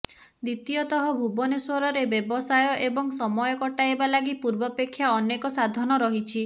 ଦ୍ୱିତୀୟତଃ ଭୁବନେଶ୍ୱରରେ ବ୍ୟବସାୟ ଏବଂ ସମୟ କଟାଇବା ଲାଗି ପୂର୍ବାପେକ୍ଷା ଅନେକ ସାଧନ ରହିଛି